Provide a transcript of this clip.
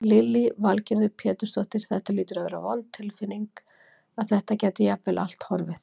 Lillý Valgerður Pétursdóttir: Þetta hlýtur að vera vond tilfinning að þetta gæti jafnvel allt horfið?